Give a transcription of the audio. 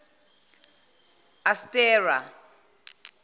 astera